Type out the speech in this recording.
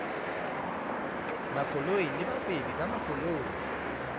makoloi le bahwebi ba makoloi